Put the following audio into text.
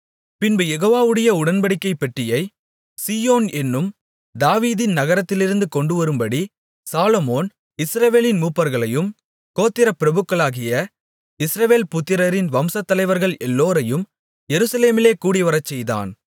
பின்பு யெகோவாவுடைய உடன்படிக்கைப் பெட்டியை சீயோன் என்னும் தாவீதின் நகரத்திலிருந்து கொண்டுவரும்படி சாலொமோன் இஸ்ரவேலின் மூப்பர்களையும் கோத்திரப் பிரபுக்களாகிய இஸ்ரவேல் புத்திரரின் வம்சத் தலைவர்கள் எல்லோரையும் எருசலேமிலே கூடிவரச்செய்தான்